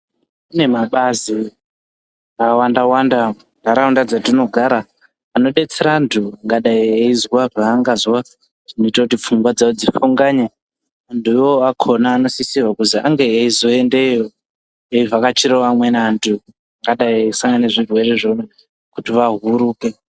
Kune mabazi akawanda wanda muntaraunda dzatinogara, anodetsera vantu angadai eizwa zvaangazwa zvinoita kuti pfungwa dzawo dzifunganye. Antu iwowo akona anosisirwa kuzi ange eizoendeyo eivhakachirawo amweni antu akadai seane zvirwere zvona kuti vahuruke.